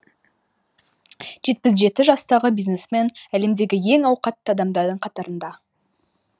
жетпіс жеті жастағы бизнесмен әлемдегі ең ауқатты адамдардың қатарында